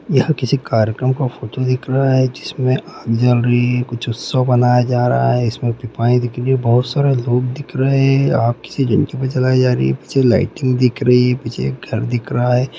यह किसी कार्यक्रम का फोटो दिख रहा है जिसमे आग जल रही है कुछ उत्सव मनाया जा रहा है इसमे के लिए बहुत सारा लोग दिख रहे है आग से जलती पीछे लाइटिंग दिख रही है पीछे एक घर दिख रहा है।